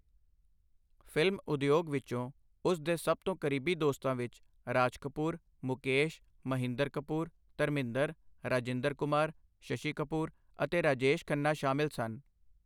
Film ਉਦਯੋਗ ਵਿੱਚੋਂ ਉਸ ਦੇ ਸਭ ਤੋਂ ਕਰੀਬੀ ਦੋਸਤਾਂ ਵਿੱਚ ਰਾਜ ਕਪੂਰ, ਮੁਕੇਸ਼, ਮਹਿੰਦਰ ਕਪੂਰ, ਧਰਮਿੰਦਰ, ਰਾਜਿੰਦਰ ਕੁਮਾਰ, ਸ਼ਸ਼ੀ ਕਪੂਰ ਅਤੇ ਰਾਜੇਸ਼ ਖੰਨਾ ਸ਼ਾਮਿਲ ਸਨ।